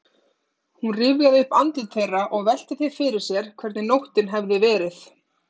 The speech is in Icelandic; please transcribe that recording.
Hún rifjaði upp andlit þeirra og velti því fyrir sér hvernig nóttin hefði verið.